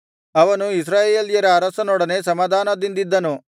ಅವನು ಇಸ್ರಾಯೇಲ್ಯರ ಅರಸರೊಡನೆ ಸಮಾಧಾನದಿಂದಿದ್ದನು